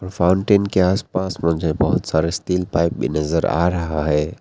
Fountain के आसपास मुझे बहुत सारे स्टील पाइप भी नजर आ रहा है।